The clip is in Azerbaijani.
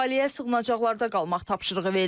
Əhaliyə sığınacaqlarda qalmaq tapşırığı verilib.